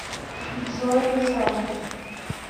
джой русалки